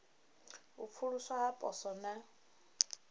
u pfuluswa ha poswo na